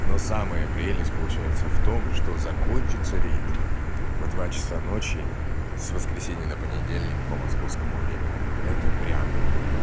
но самая прелесть получается в том что закончится рейд в два часа ночи с воскресенья на понедельник по московскому времени это прям